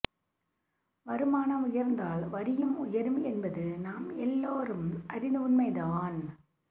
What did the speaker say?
வருமானம் உயர்ந்தால் வரியும் உயரும் என்பது நாமெல்லோரும் அறிந்த உண்மைதான்